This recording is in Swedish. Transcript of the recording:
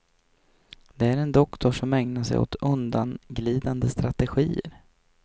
Det är en doktor som ägnar sig åt undanglidande strategier.